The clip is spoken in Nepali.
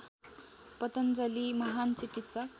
पतञ्जलि महान् चिकित्सक